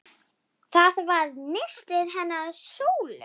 Það var nistið hennar Sólu.